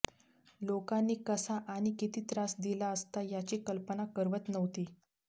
लोकांनी कसा आणि किती त्रास दिला असता याची कल्पना करवत नव्हती